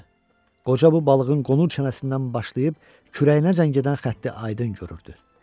Qoca bu balığın qonur çənəsindən başlayıb kürəyinə zəng edən xətti Aydın görürdür.